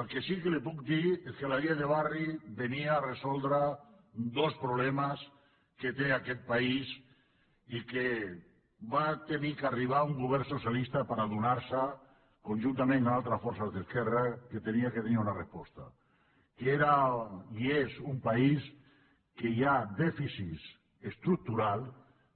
el que sí que li puc dir és que la llei de barris resolia dos problemes que té aquest país i que va haver d’arribar un govern socialista per adonar se conjuntament amb altres forces d’esquerra que havia de tenir una resposta que era i és un país en què hi ha dèficits estructurals